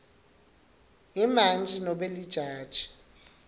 imantji nobe lijaji